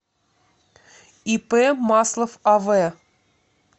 ип маслов ав